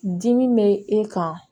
Dimi bɛ e kan